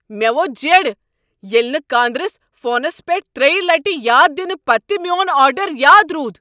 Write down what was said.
مےٚ ووٚتھ جیڑٕ ییٚلہ نہٕ کاندرِس فونس پیٹھ تریِہ لٹِہ یاد دِنہ پتہٕ تِہ میون آرڈر یاد رود۔